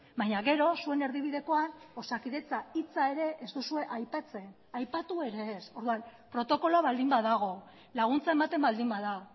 baina gero zuen erdibidekoan osakidetza hitza ere ez duzue aipatzen aipatu ere ez orduan protokoloa baldin badago laguntza ematen baldin bada